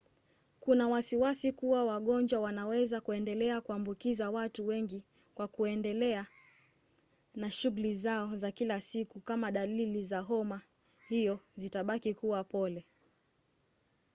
kuna wasiwasi kuwa wagonjwa wanaweza kuendelea kuambukiza watu wengi kwa kuendelea na shughuli zao za kila siku kama dalili za homa hiyo zitabaki kuwa pole